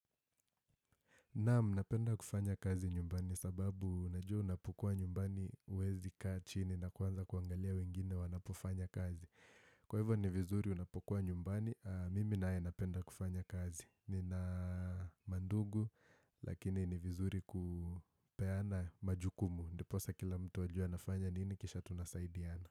Naam, napenda kufanya kazi nyumbani sababu najua unapokuwa nyumbani huwezi kaa chini na kuanza kuangalia wengine wanapofanya kazi. Kwa hivyo ni vizuri unapokuwa nyumbani, mimi naye napenda kufanya kazi. Nina mandugu, lakini ni vizuri kupeana majukumu. Ndiposa kila mtu ajue anafanya nini, kisha tunasaidiana.